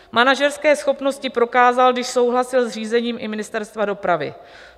Manažerské schopnosti prokázal, když souhlasil s řízením i Ministerstva dopravy.